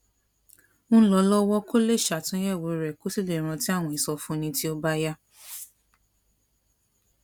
ń lọ lówó kó lè ṣàtúnyèwò rẹ kó sì lè rántí àwọn ìsọfúnni tí ó bá yá